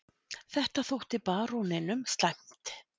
Þetta þótti baróninum slæmt.